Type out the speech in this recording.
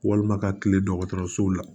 Walima ka kile dɔgɔtɔrɔsow la